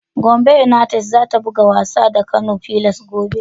Gombe yunaites za ta buga wasa da Kano Pillars gobe.